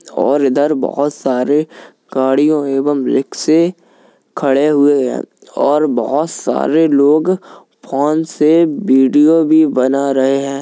और इधर बहुत सारे गाड़ियों एवं रिक्शे खड़े हुए है और बहुत सारे लोग फोन से वीडियो भी बना रहे हैं।